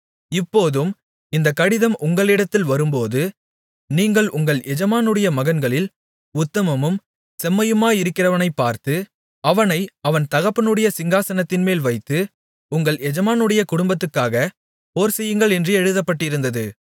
இப்போதும் இந்தக் கடிதம் உங்களிடத்தில் வரும்போது நீங்கள் உங்கள் எஜமானுடைய மகன்களில் உத்தமமும் செம்மையுமாயிருக்கிறவனைப் பார்த்து அவனை அவன் தகப்பனுடைய சிங்காசனத்தின்மேல் வைத்து உங்கள் எஜமானுடைய குடும்பத்துக்காக போர்செய்யுங்கள் என்று எழுதப்பட்டிருந்தது